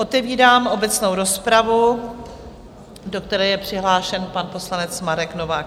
Otevírám obecnou rozpravu, do které je přihlášen pan poslanec Marek Novák.